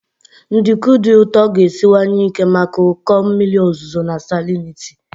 Nduku dị ụtọ ga-esiwanye ike maka ụkọ mmiri ozuzo na salinity.